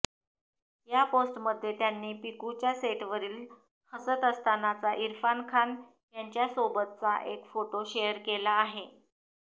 या पोस्टमध्ये त्यांनी पिकूच्या सेटवरील हसत असतानाचा इरफान खान यांच्यासोबतचा एक फोटो शेअर केला आहे